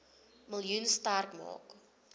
miljoen sterk maak